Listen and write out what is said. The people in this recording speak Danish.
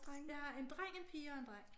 Jeg har en dreng en pige og en dreng